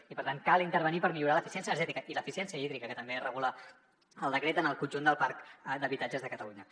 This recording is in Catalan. i per tant cal intervenir per millorar l’eficiència energètica i l’eficiència hídrica que també regula el decret en el conjunt del parc d’habitatges de catalunya